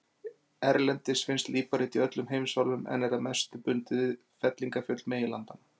Erlendis finnst líparít í öllum heimsálfum en er að mestu bundið við fellingafjöll meginlandanna.